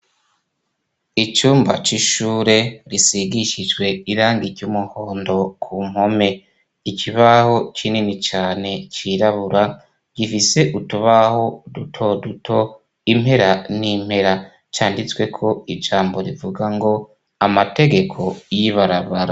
Icumba c'ishure risigishijwe irangi ry'umuhondo ku mpome. Ikibaho kinini cane cirabura, gifise utubaho duto duto, impera n'impera canditsweko ijambo rivuga ngo amategeko y'ibarabara.